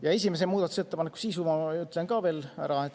Ja esimese muudatusettepaneku sisu ma ütlen ka ära.